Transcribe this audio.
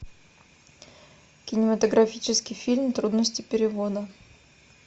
кинематографический фильм трудности перевода